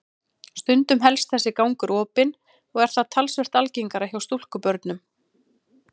Stundum helst þessi gangur opinn og er það talsvert algengara hjá stúlkubörnum.